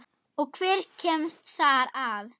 Og hver kemst þar að?